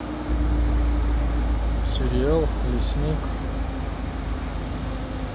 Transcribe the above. сериал лесник